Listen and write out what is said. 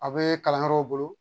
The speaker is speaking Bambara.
A bɛ kalanyɔrɔw bolo